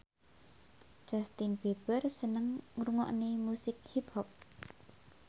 Justin Beiber seneng ngrungokne musik hip hop